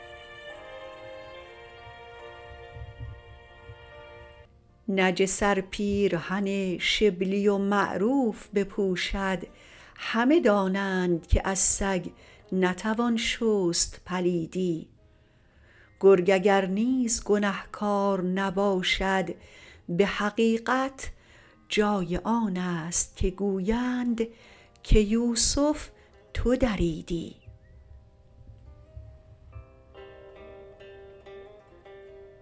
نجس ار پیرهن شبلی و معروف بپوشد همه دانند که از سگ نتوان شست پلیدی گرگ اگر نیز گنهکار نباشد به حقیقت جای آنست که گویند که یوسف تو دریدی